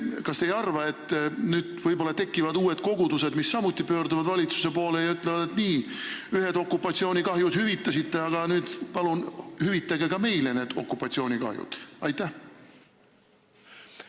Kas te ei arva, et nüüd võib-olla tekivad uued kogudused, mis samuti pöörduvad valitsuse poole ja ütlevad, et nii, ühed okupatsioonikahjud te hüvitasite, aga palun hüvitage okupatsioonikahjud ka meile?